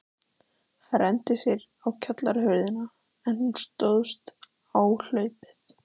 Hann renndi sér á kjallarahurðina, en hún stóðst áhlaupið.